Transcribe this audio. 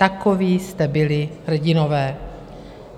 Takoví jste byli hrdinové.